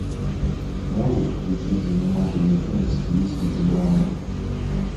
можешь включить занимательный фильм в стилистике драмы